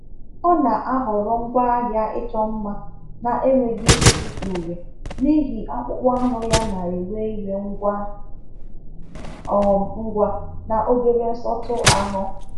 Ọ na-ahọrọ ngwaahịa ịchọ mma na-enweghị isi uri n’ihi akpụkpọ anụ ya na-ewe iwe ngwa um ngwa na obere nsọtụ ahụ.